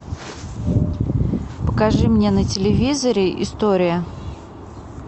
покажи мне на телевизоре история